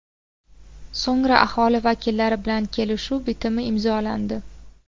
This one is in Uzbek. So‘ngra aholi vakillari bilan kelishuv bitimi imzolandi.